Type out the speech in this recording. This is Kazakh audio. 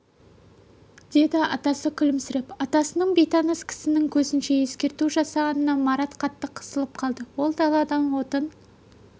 деді атасы күлімсіреп атасының бейтаныс кісінің көзінше ескерту жасағанына марат қатты қысылып қалды ол даладан отын